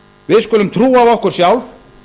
við skulum trúa á okkur sjálf